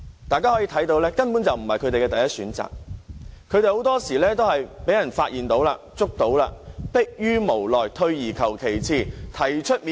大家可以看到，這根本不是他們的第一選擇，很多時候他們都是因為被發現或拘捕時，才逼於無奈，退而求其次。